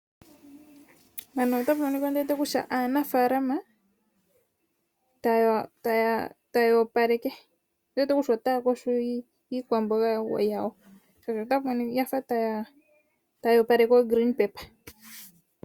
Mpano ota pu monika ndiwete kutya aanafaalama taya opaleke ndiwete kutya otaya yogo iikwamboga yawo shaashi oya fa ota ya opaleke oogreenpaper